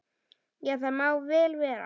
Já, það má vel vera.